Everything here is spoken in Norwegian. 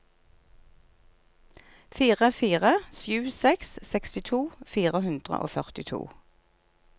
fire fire sju seks sekstito fire hundre og førtito